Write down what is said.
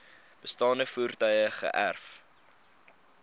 bestaande voertuie geërf